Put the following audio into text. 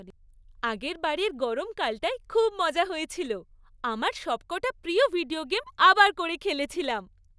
আগেরবারের গরমকালটায় খুব মজা হয়েছিল। আমার সবকটা প্রিয় ভিডিও গেম আবার করে খেলেছিলাম।